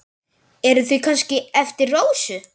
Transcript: Eru þau kannski eftir Rósu?